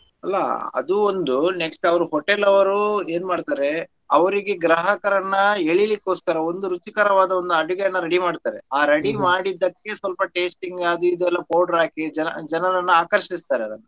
ಅಲ್ಲಾ ಅದೂ ಒಂದು next ಅವ್ರ್ hotel ಅವ್ರು ಏನ್ಮಾಡ್ತಾರೆ ಅವ್ರಿಗೆ ಗ್ರಾಹಕರನ್ನ ಎಳೀಲಿಕ್ಕೋಸ್ಕರ ಒಂದು ರುಚಿಕರವಾದ ಒಂದು ಅಡುಗೆಯನ್ನ ready ಮಾಡ್ತಾರೆ ಆ ready ಮಾಡಿದ್ದಕ್ಕೆ ಸ್ವಲ್ಪ tasting ಅದು ಇದು ಎಲ್ಲ powder ಹಾಕಿ ಜನ ಜನರನ್ನ ಆಕರ್ಷಿಸುತ್ತಾರೆ.